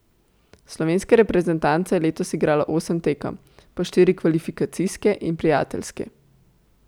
Slovenska reprezentanca je letos igrala osem tekem, po štiri kvalifikacijske in prijateljske.